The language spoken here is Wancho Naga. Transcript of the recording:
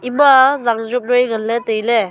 ima zanjob noi ngan ley tailey.